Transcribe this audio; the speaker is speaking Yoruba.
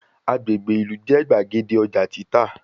Agbègbè ìlú jẹ́ gbàgede ọjà títà